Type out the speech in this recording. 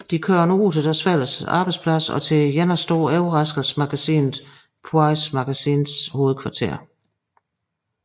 De kører nu til deres fællesarbejdsplads og til Jennas store overraskelse magasinet Poise Magazines hovedkvarter